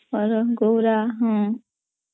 ହରଗୌରାହଁ